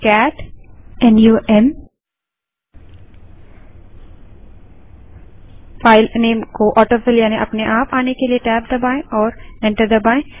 cat numफाइल name को autofill यानि अपने आप आने के लिए टैब दबायें और एंटर दबायें